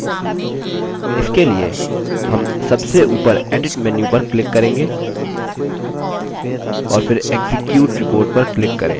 इसके लिए हम सबसे ऊपर edit menu पर click करेंगे और फिर execute report पर click करें